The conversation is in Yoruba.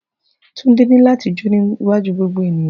Tundew ní láti jó níwájú gbogbo ènìyàn